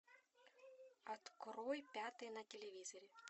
открой пятый на телевизоре